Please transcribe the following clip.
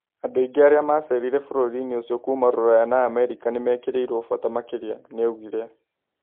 Andũ aingĩ arĩa macerire bũrũri-inĩũcio kuma Ruraya na Amerika nĩmekĩrĩirwo bata makĩria, nĩaugire